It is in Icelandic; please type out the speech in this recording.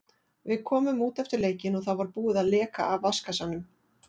Við komum út eftir leikinn og þá var búið að leka af vatnskassanum.